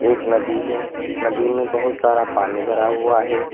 एक नदी है नदी में बहुत सारा पानी भरा हुआ है।